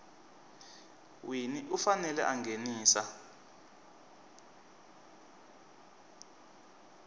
wini u fanele a nghenisa